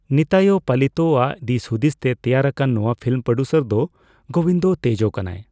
ᱱᱤᱛᱟᱭᱤ ᱯᱟᱞᱤᱛᱚᱻᱟᱜ ᱫᱤᱥᱦᱩᱫᱤᱥ ᱛᱮ ᱛᱮᱭᱟᱨ ᱟᱠᱟᱱ ᱱᱚᱣᱟ ᱯᱷᱤᱢ ᱯᱨᱚᱰᱭᱩᱥᱚᱨ ᱫᱚ ᱜᱳᱵᱤᱱᱫᱚ ᱛᱮᱡᱚ ᱠᱟᱱᱟᱭ।